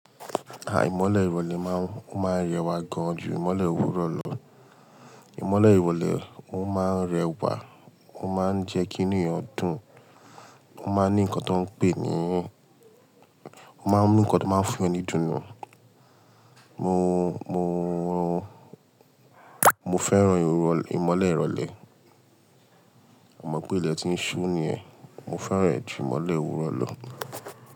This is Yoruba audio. Imọ́lẹ̀ ìrọ̀lẹ́ máa ń rẹwà gan ju ìmolẹ̀ òwúrọ̀ lọ. Ìmọ́lẹ̀ ìrọ̀lẹ́ o máa ń rẹwà, ó máa ń jẹ́ kí inú ẹyàn dùn, ó máa ń ní nǹkan tó ń pè é ní, ó máa ń mú nǹkan tó máa ń fún yan ni idùn nù. Mo, mo, mo fẹ́ràn ìmolẹ̀ ìrọ̀lẹ́. Mo mọ̀ pé ilẹ̀ ti ń ṣú ni yẹn, mo fẹ́ràn e ju ìmọ́lẹ̀ òwúrọ̀ lọ.